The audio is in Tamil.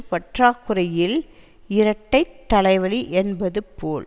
பற்றாக்குறையில் இரட்டைத் தலை வலி என்பது போல்